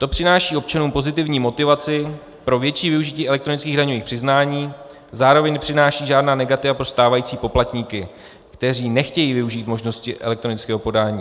To přináší občanům pozitivní motivaci pro větší využití elektronických daňových přiznání, zároveň nepřináší žádná negativa pro stávající poplatníky, kteří nechtějí využít možnosti elektronického podání.